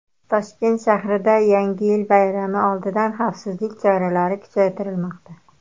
Toshkent shahrida Yangi yil bayrami oldidan xavfsizlik choralari kuchaytirilmoqda.